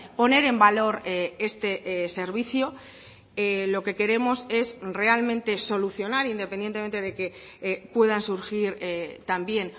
poner en valor este servicio lo que queremos es realmente solucionar independientemente de que puedan surgir también